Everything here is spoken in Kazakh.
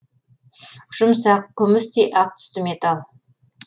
жұмсақ күмістей ақ түсті металл